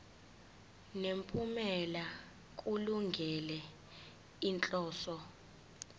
nemiphumela kulungele inhloso